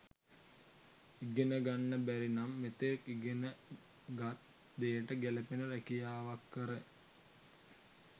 ඉගෙන ගන්න බැරිනම් මෙතෙක් ඉගෙනගත් දේට ගැලපෙන රැකියාවක් කර